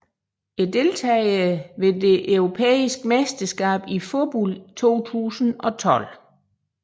Deltagere ved det europæiske mesterskab i fodbold 2012